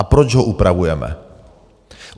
A proč ho upravujeme?